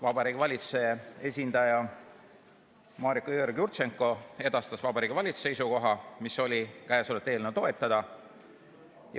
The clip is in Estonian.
Vabariigi Valitsuse esindaja Mariko Jõeorg-Jurtšenko edastas Vabariigi Valitsuse seisukoha, mis oli: eelnõu toetada.